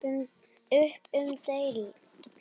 Upp um deild